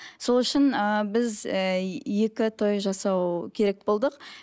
сол үшін ыыы біз ііі екі той жасау керек болдық